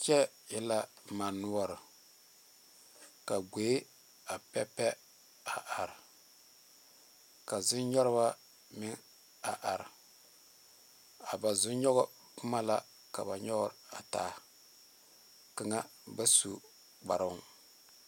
Kyɛ e la mane noɔre ka gboɛ a pɛpɛ a are ka zɔnyoŋ ba meŋ a are a ba zɔnyoŋ boma la ka ba nyoŋ a taa kaŋa ba su kparo.